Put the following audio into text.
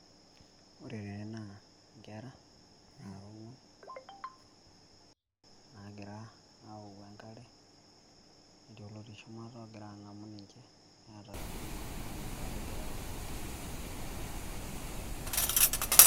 Ore tene naa nkera nara ongwan nagira aoku enkare , netii olotii shumata ogira angamu ninche , neeta iltoi neeku enkare egira aoku .